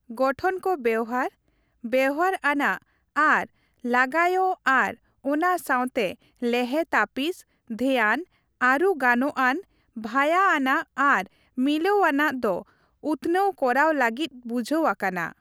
ᱜᱚᱴᱷᱚᱱ ᱠᱚ ᱵᱮᱣᱦᱟᱨ, ᱵᱮᱣᱦᱟᱨ ᱟᱱᱟᱜ ᱟᱨ ᱞᱟᱜᱟᱭᱚᱜ ᱟᱨ ᱚᱱᱟ ᱥᱟᱶᱛᱮ ᱞᱮᱦᱮ ᱛᱟᱹᱯᱤᱥ, ᱫᱷᱮᱭᱟᱱ, ᱟᱹᱨᱩ ᱜᱟᱱᱚᱜᱼᱟᱱ, ᱵᱷᱟᱹᱨᱭᱟᱹ ᱟᱱᱟᱜ ᱟᱨ ᱢᱤᱞᱟᱹᱣ ᱟᱱᱟᱜ ᱫᱚ ᱩᱛᱱᱟᱹᱣ ᱠᱚᱨᱟᱣ ᱞᱟᱹᱜᱤᱫ ᱵᱩᱡᱷᱟᱹᱣ ᱟᱠᱟᱱᱟ ᱾